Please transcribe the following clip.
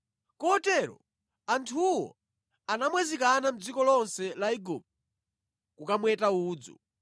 Kotero anthuwo anamwazikana mʼdziko lonse la Igupto kukamweta udzu.